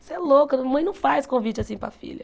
Você é louca, uma mãe não faz convite assim para a filha.